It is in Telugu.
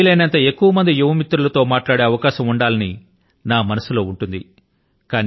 వీలైనంత ఎక్కువ మంది యువ మిత్రుల తో మాట్లాడే అవకాశం ఉండాలని నా మనసు లో ఉంటుంది